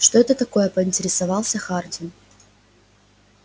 что это такое поинтересовался хардин